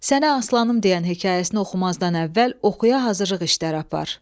Sənə aslanım deyən hekayəsini oxumazdan əvvəl oxuya hazırlıq işləri apar.